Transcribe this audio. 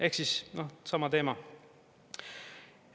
Ehk siis sama teema.